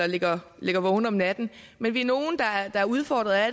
ligger ligger vågen om natten men vi er nogle der er udfordret af